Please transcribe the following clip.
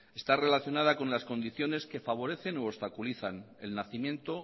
está relacionada con las condiciones que favorecen u obstaculizan el nacimiento